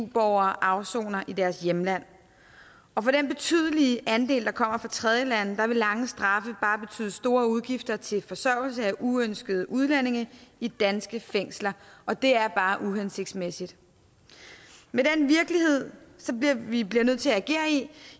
eu borgere afsoner i deres hjemland og for den betydelige andel der kommer fra tredjelande vil lange straffe bare betyde store udgifter til forsørgelse af uønskede udlændinge i danske fængsler og det er bare uhensigtsmæssigt med den virkelighed vi bliver nødt til at agere